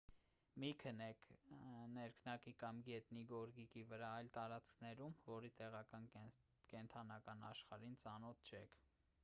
մի քնեք ներքնակի կամ գետնի գորգիկի վրա այն տարածքներում որի տեղական կենդանական աշխարհին ծանոթ չեք